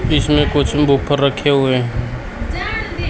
इसमें कुछ बूफर रखे हुए हैं।